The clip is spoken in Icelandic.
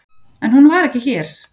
En hún var ekki hér.